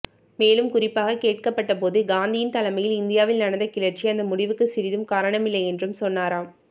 மேலும் குறிப்பாகக் கேட்கப்பட்டபோது காந்தியின் தலைமையில் இந்தியாவில் நடந்த கிளர்ச்சி அந்த முடிவுக்கு சிறிதும் காரணமில்லை என்றும் சொன்னாராம்